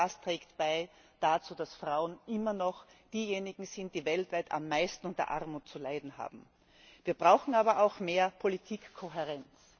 Alles das trägt dazu bei, dass Frauen immer noch diejenigen sind, die weltweit am meisten unter Armut zu leiden haben. Wir brauchen aber auch mehr Politikkohärenz.